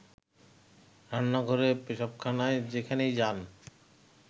রান্নাঘরে, পেশাবখানায় যেখানেই যান